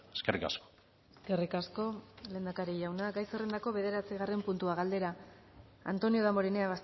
eskerrik asko eskerrik asko lehendakari jauna gai zerrendako bederatzigarren puntua galdera antonio damborenea